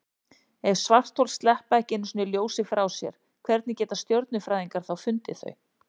Ef svarthol sleppa ekki einu sinni ljósi frá sér, hvernig geta stjörnufræðingar þá fundið þau?